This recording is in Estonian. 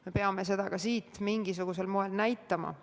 Me peame mingisugusel moel ka oma huvi üles näitama.